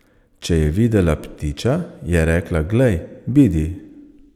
Če je videla ptiča, je rekla, glej, bidi.